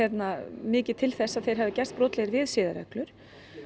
mikið til þess að þeir hafi gerst brotlegir við siðareglur